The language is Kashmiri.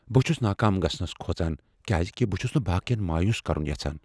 بہٕ چھٗس ناكام گژھنس كھوژان کیازِ كہِ بہٕ چھس نہٕ باقین مایوس کرٗن یژھان۔